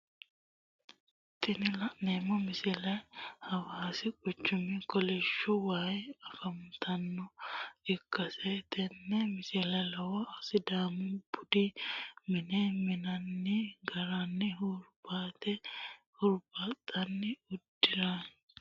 Tini la'neemo misile hawassi quchumi kolliishu wayiwa afantanota ikkitanna tene misilera lowo sidamu budu mine mi'ninanni garanna hurubate huribaxinnanni uduunicjo buduniha hawalle keerunni daginni yinnanni garini leellii'nshooni